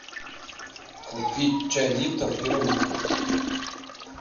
купить чай липтон в пирамидках